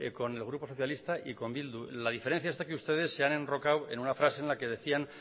con el grupo socialista y con bildu la diferencia está que ustedes se han enrocado en una frase en la que decían